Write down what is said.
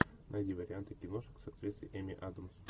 найди варианты киношек с актрисой эми адамс